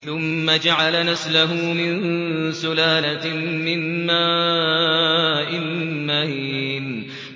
ثُمَّ جَعَلَ نَسْلَهُ مِن سُلَالَةٍ مِّن مَّاءٍ مَّهِينٍ